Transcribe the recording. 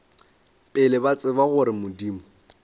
pele ba tseba gore modimo